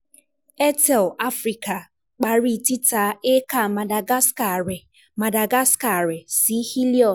Airtel Africa pari tita hectre Madagascar rẹ Madagascar rẹ si Helios